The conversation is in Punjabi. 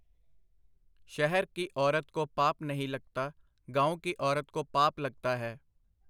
ਸ਼ਹਿਰ ਕੀ ਔਰਤ ਕੋ ਪਾਪ ਨਹੀਂ ਲਗਤਾ, ਗਾਓਂ ਕੀ ਔਰਤ ਕੋ ਪਾਪ ਲਗਤਾ ਹੈ .